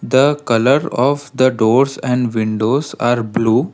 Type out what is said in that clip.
the colour of the doors and windows are blue.